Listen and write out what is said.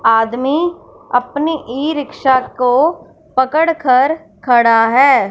आदमी अपनी e rickshaw को पकड़ कर खड़ा है।